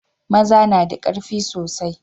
maza nada karfi soasi